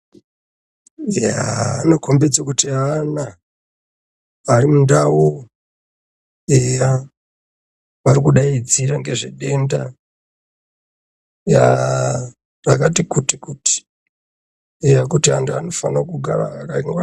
Yaaa anokhombidze kuti ana ari mundau eya vari kudaidzira ngezvedenda rakati kuti kuti eya kuti antu anofanire kugara akangwaririka.